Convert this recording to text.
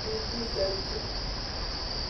kʋ uvíe zɛti